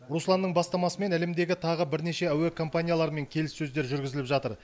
русланның бастамасымен әлемдегі тағы бірнеше әуе компанияларымен келіссөздер жүргізіліп жатыр